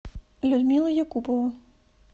людмила якупова